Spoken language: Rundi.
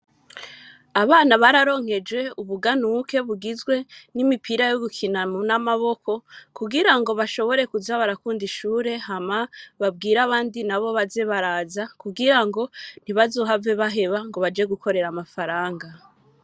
Abana, bararonkejwe ubuganuke, bugizwe n'imipira yo gukina n'amaboko, kugira ngo, bashobore kuza barakunda, ishure; hama babwire abandi nabo, baze baraza, kugira ngo, ntibazohave baheba, ngo baje gukorera amafaranga.